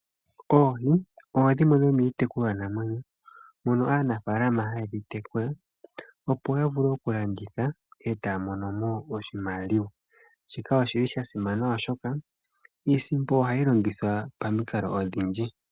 Oohi odho dhimwe dhomiitekulwanamwenyo mono aanafaalama haye dhi tekula, opo ya vule okulanditha e taya mono mo oshimaliwa. Shika osha simana, oshoka iisimpo ohayi longithwa pamikalo odhindji.